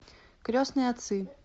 крестные отцы